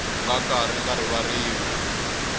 nga ka ri nga rivariwi